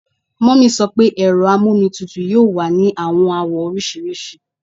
Mummy sọ pe ero amomitutu yoo wa ni awọn awọ oriṣiriṣi